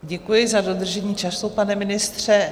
Děkuji za dodržení času, pane ministře.